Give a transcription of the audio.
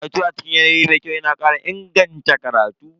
Karatu a cikin yanayi mai kyau yana kara inganta karatu.